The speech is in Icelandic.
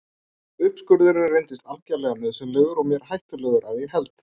Uppskurðurinn reyndist algerlega nauðsynlegur og mér hættulegur að ég held.